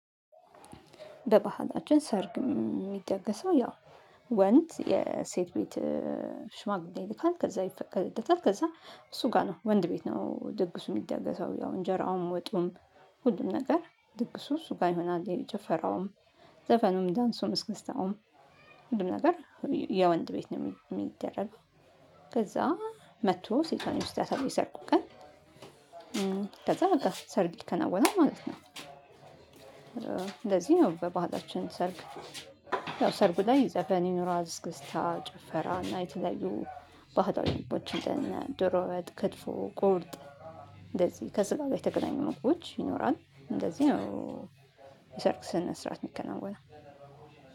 በባህላችን ሰርግ የሚደገሰው ያው ወንድ የሴት ቤት ሽማግሌ ይልካል ከዛ ይፈቀድታል ከዛ እሱ ጋር ነው። ወንድ ቤት ነው ድግሱ የሚደረገው ያው እንጀራውም ወጡም። ሁሉም ነገር ድግሱ እሱ ጋር ይሆናል። ጭፈራውም ዘፈኑም ዳንሱም እስከስታውም ሁሉም ነገር የወንድ ቤት ነው የሚደረግ። ከዛ መጥቶ ሴቷን ይወስዳታል የሰርጉ ቀን ከዛ በቃ ሰርግ ይከናወናል ማለት ነው። እንደዚህ ነው በባህላችን ሰርግ። ያው ሰርጉ ላይ ዘፈን ይኖራል። አስክስታ ጭፈራ እና የተለዩ ባህላዊ አንደነ ዶሮ ወጥ ክትፎ ቁርጥ እንደዚህ ከስጋ ጋር የተገናኙ ምግቦች ይኖራል እንደዚህ ነው። የሰርግ ስነስራአት የሚከናወነው